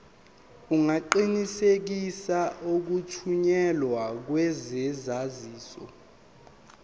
ungaqinisekisa ukuthunyelwa kwesaziso